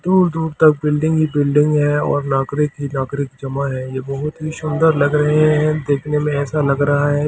दूर दूर तक बिल्डिंग ही बिल्डिंग है और नागरिक ही नागरिक जमा है ये बहुत ही सुन्दर लग रहे है देखने में ऐसा लग रहा है कि जैसे यह --